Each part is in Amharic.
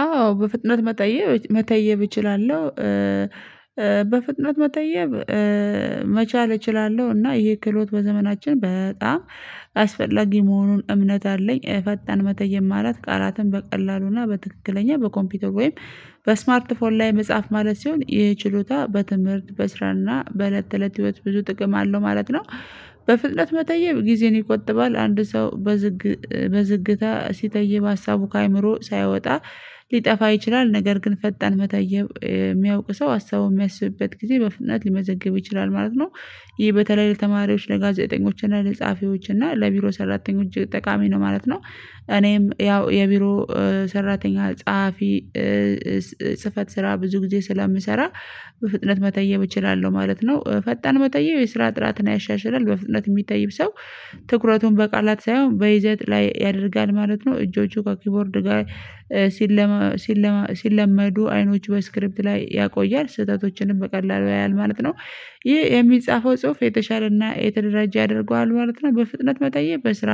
አዎ በፍጥነት መጠየብ መተየብ እችላለሁ። በፍጥነት መተየብ መቻል እችላለሁ እና ይሄ ክህሎት በዘመናችን በጣም አስፈላጊ መሆኑን እምነት አለኝ። ፈጣን መተየም ማለት ቃላትን በቀላሉና በትክክለኛ በኮምፒውተር ወይም በስማርት ፎር ላይ መጽሐፍ ማለት ሲሆን ይህ ችሎታ በትምህርት በስራና በእለት እለት ህይወት ብዙ ጥቅም አለው ማለት ነው። በፍጥነት መተየብ ጊዜን ይቆጥባል አንድ ሰው በዝግ በዝግታ ሲተይብ ሀሳቡ ከአእምሮ ሳይወጣ ሊጠፋ ይችላል። ነገር ግን ፈጣን መተየብ የሚያውቅ ሰው ሀሳቡን የሚያስብበት ጊዜ በፍነት ሊመዘግብ ይችላል ማለት ነው። ይሄ በተለይ ለተማሪዎች ለጋዜጠኞች እና ለጸሀፊዎች እና ለቢሮ ሰራተኞች ጠቃሚ ነው ማለት ነው። እኔም ያው የቢሮ ሰራተኛ ጸሐፊ ጽህፈት ስራ ብዙ ጊዜ ስለምሰራ በፍጥነት መተየብ እችላለሁ ማለት ነው። ፈጣን መተየብ የስራ ጥራትን ያሻሽላልም በፍጥነት የሚተይብ ሰው ትኩረቱን በቃላት ሳይሆን በይዘት ላይ ያደርጋል ማለት ነው። እጆቹ ከኪቦርድ ጋር ሲለማ ሲለማ ሲለመዱ አይኖቹ በስክሪፕት ላይ ያቆያል ስህተቶችንም በቀላሉ ያያል ማለት ነው። ይሄ የሚጻፈው ጽሁፍ የተሻለና የተደራጃ ያደርገዋል ማለት ነው። በፍጥነት መተየብ በስራ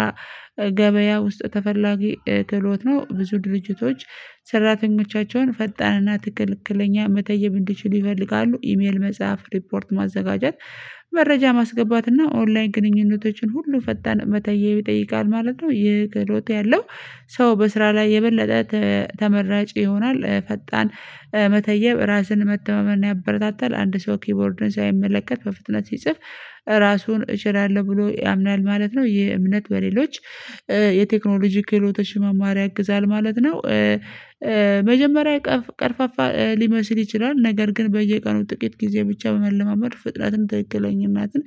ገበያ ውስጥ ተፈላጊ ክህሎት ነው። ብዙ ድርጅቶች ሰራተኞቻቸውን ፈጣንና ትክክለኛ መተየብ እንድችል ይፈልጋሉ ኢሜል መጽሐፍ ሪፖርት ማዘጋጀት መረጃ ማስገባትና ኦንላይን ግንኙነቶችን ሁሉ ፈጣን መተየብ ይጠይቃል ማለት ነው። ይህ ክህሎት ያለው ሰው በስራ ላይ የበለጠ ተመራጭ ይሆናል። ፈጣን መተየብ ራስን መተማመን ያበረታታል አንድ ሰው ኪቦርድን ሳይመለከት በፍጥነት ሲጽፍ ራሱን እችላለሁ ብሎ ያምናል ማለት ነው። ይሄ እምነት በሌሎች የቴክኖሎጂ ክህሎተ ለማማር ያግዛል ማለት ነው። መጀመሪያ ቀርፋፋ ሊመስል ይችላል ነገር ግን በየቀኑ ጥቂት ጊዜ ብቻ በመለማመድ ፍጥነትን ትክክለኛነትን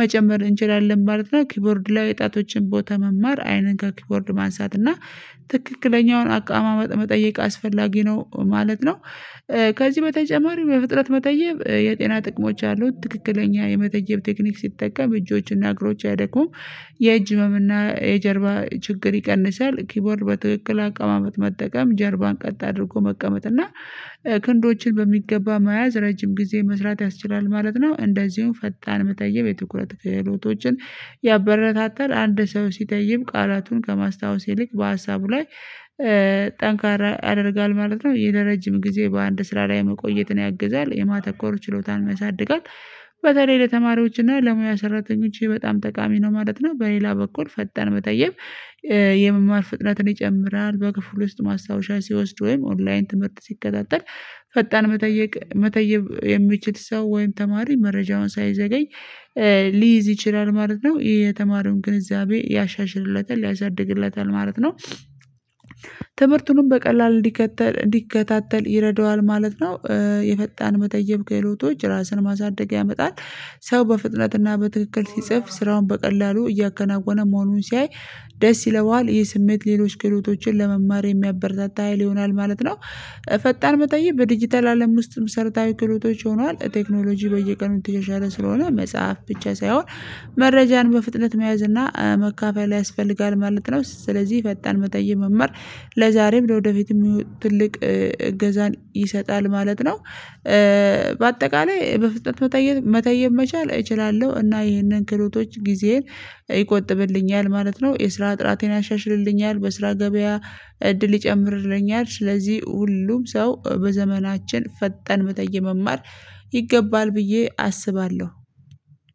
መጨመር እንችላለን ማለት ነው። ኪቦርድ ላይ ጣቶችን ቦታ መማር አይንን ጋር ከኪቦርድ ማንሳት እና ትክክለኛውን አቋማመጥ መጠየቅ አስፈላጊ ነው ማለት ነው። ከዚህ በተጨማሪ በፍጥነት መተየብ የጤና ጥቅሞች አሉት ትክክለኛ የመተየብ ቴክኒክ ሲጠቀም እጆችና እግሮች አያደክሙም የእጅ ህመም እና የጀርባ ችግር ይቀንሳል። ኪቦርድ በትክክል አቀማመጥ መጠቀም ጀርባን ቀጥ አድርጎ መቀመጥ እና ክንዶችን በሚገባ መያዝ ረጅም ጊዜ መስራት ያስችላል ማለት ነው። እንደዚሁም ፈጣን መተየብ የትኩረት ክህሎቶችን ያበረታታል አንድ ሰው ሲተይብ ቃላቱን ከማስታወስ ይልቅ በሀሳቡ ላይ ጠንካራ ያደርጋል ማለት ነው። ይሄ ለረጅም ጊዜ በአንድ ስራ ላይ መቆየትን ያግዛል የማተኮሩ ችሎታ ያሳድጋል። በተለይ ለተማሪዎችና ለሙያ ሰራተኞች በጣም ጠቃሚ ነው ማለት ነው። በሌላ በኩል ፈጣን መተየብ ፍጥነትን ይጨምራል በክፍሉ ውስጥ ማስታወሻ ሲወስድ ወይም ኦንላይን ትምህርት ሲከታተል ፈጣን መጠየቅ መተየብ የሚችል ሰው ወይም ተማሪ መረጃውን ሳይዘገኝ ሊይዝ ይችላል ማለት ነው። የተማሩን ግንዛቤ ያሻሽርለታል ያሳድግለታል ማለት ነው። ትምህርቱንም በቀላል እንዲከታተል እንዲከታተል ይረደዋል ማለት ነው። የፈጣን መተየብ ካህሎቶች ራስን ማሳደግ ያመጣል። ሰው በፍጥነትና በትክክል ሲጽፍ ስራውን በቀላሉ እያከናወነ መሆኑን ሲያይ ደስ ይለዋል ይህ ስሜት ሌሎች ክህሎቶችን ለመማር የሚያበረታታ ሀይል ይሆናል ማለት ነው። ፈጣን መተየብ በዲጂታል አለም ውስጥም መሰርታዊ ክህሎቶች ሆነዋል ቴክኖሎጂ በየቀኑ እየተሸሻለ ስለሆነ መጽሐፍ ብቻ ሳይሆን መረጃን በፍጥነት መያዝ እና መካፈል ያስፈልጋል ማለት ነው። ስለዚህ ፈጣን መተየብ መማር ለዛሬም ወደፊትም ትልቅ እገዛን ይሰጣል ማለት ነው። በአጠቃላይ በፍጥነት መተየብ መቻል እችላለሁ እና ይህንን ክህሎቶች ጊዜን ይቆጥብልኛል ማለት ነው። የስራ ጥራቴን ያሻሽልልኛል በስራ ገበያ እድል ይጨምርልኛል። ስለዚህ ሁሉም ሰው በዘመናችን ፈጣን መተየብ መማር ይገባል ብዬ አስባለሁ።